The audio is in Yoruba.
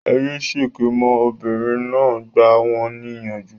Ẹ yé ṣèké mọ́! Obìnrin náà gbà wọn ní ìyànjú